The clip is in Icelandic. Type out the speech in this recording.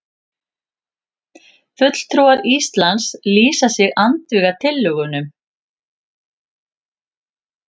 Fulltrúar Íslands lýsa sig andvíga tillögunum